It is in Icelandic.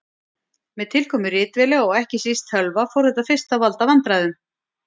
Með tilkomu ritvéla og ekki síst tölva fór þetta fyrst að valda vandræðum.